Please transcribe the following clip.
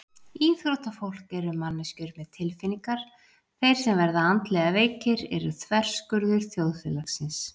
Íþróttafólk eru manneskjur með tilfinningar Þeir sem verða andlega veikir eru þverskurður þjóðfélagsins.